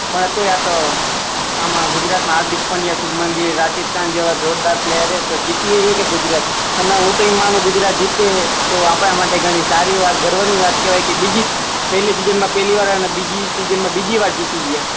પણ તોય આ તો આમાં ગુજરાત મા હાર્દિક પંડ્યા, શુબમનગીલ, રશીદ ખાન જેવા જોરદાર પ્લયેર છે તો જીતી જઈએ હે ગુજરાત ને હું તો એમ માનું કે ગુજરાત જીતે હે આપણા માટે ઘણી સારી વાત ગર્વ ની વાત કેહવાય કે બીજી પેહલી સીઝન મા પેહલી વાર અને બીજી સીઝન મા બીજી વાર જીતી ગયા